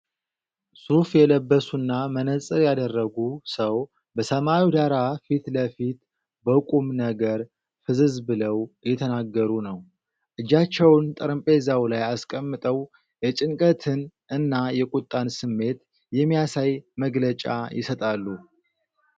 ሱፍ የለበሱና መነፅር ያደረጉ ሰው በሰማያዊ ዳራ ፊት ለፊት በቁም ነገር ፍዝዝ ብለው እየተናገሩ ነው። እጃቸውን ጠረጴዛ ላይ አስቀምጠው የጭንቀትን እና የቁጣን ስሜት የሚያሳይ መግለጫ ይሰጣሉ።